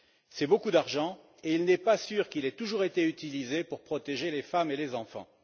C'est beaucoup d'argent, et il n'est pas sûr qu'il ait toujours été utilisé pour protéger les femmes et les enfants.